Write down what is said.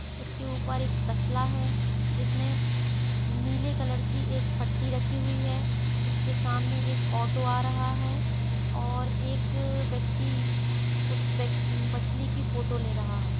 उसके ऊपर एक तसला है जिसमे नीले कलर की एक फट्टी रखी हुई है उसके सामने एक ऑटो आ रहा है और एक व्यक्ति उस व मछली की फोटो ले रहा है।